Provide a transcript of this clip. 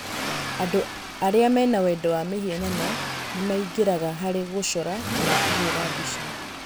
Andũ arĩa mena wendo wa mĩhianano nĩ maingĩraga harĩ gũcora kana kũhũũra mbica.